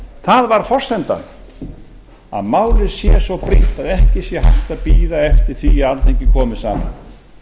það var forsendan að málið sé svo brýnt að ekki sé hægt að bíða eftir því að alþingi komi saman